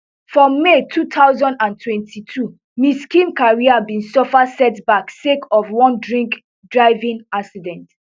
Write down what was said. for may two thousand and twenty-two miss kim career bin suffer setback sake of one drinkdriving accident